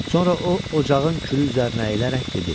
Sonra o ocağın külü üzərinə əylərək dedi: